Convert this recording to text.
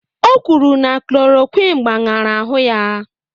O kwuru na klòròkwịn gbaṅara ahụ ya